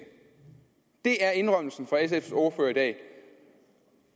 det er indrømmelsen fra sfs ordfører i dag